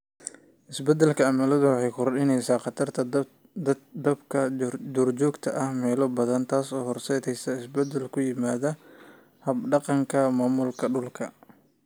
Isbeddelka cimiladu waxay kordhinaysaa khatarta dabka duurjoogta ah meelo badan, taasoo horseedaysa isbeddel ku yimaada hab-dhaqanka maamulka dhulka.